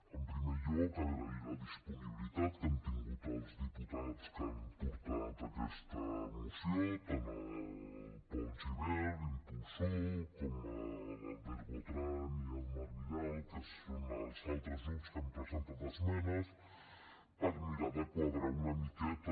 en primer lloc agrair la disponibilitat que han tingut els diputats que han portat aquesta moció tant el pol gibert impulsor com l’albert botran i el marc vidal que són els altres grups que han presentat esmenes per mirar de quadrar ho una miqueta